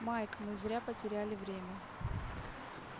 майк мы зря потеряли время